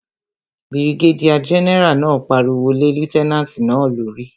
Birigédíà gẹ́nẹ́rà náà pariwo lé lútẹ́nàtì náà lórí